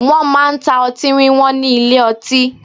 Wọn máa ń ta ọtí wíwọ́n ní ilé ọtí